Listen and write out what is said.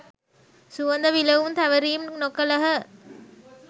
සුවඳ විලවුන් තැවරීම් නොකළහ.